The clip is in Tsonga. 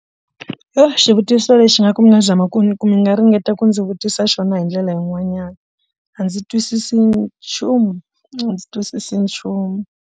Yo xivutiso lexi nga ku mi nga zama ku mi nga ringeta ku ndzi vutisa xona hi ndlela yin'wanyana a ndzi twisisi nchumu a ndzi twisisi nchumu.